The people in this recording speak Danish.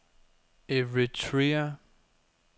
Eritrea